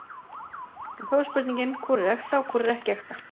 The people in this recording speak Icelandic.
En þá er spurningin, hvor er ekta og hvor er ekki ekta?